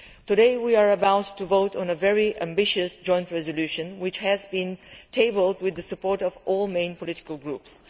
Today we are about to vote on a very ambitious joint motion for a resolution which has been tabled with the support of all main political groups.